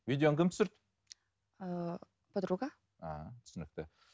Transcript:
видеоны кім түсірді ыыы подруга ааа түсінікті